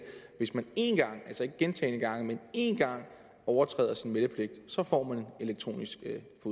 hvis man én gang altså ikke gentagne gange men én gang overtræder sin meldepligt så får man elektronisk